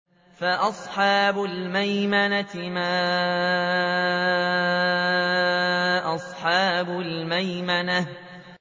فَأَصْحَابُ الْمَيْمَنَةِ مَا أَصْحَابُ الْمَيْمَنَةِ